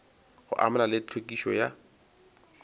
go amana le tlhwekišo ya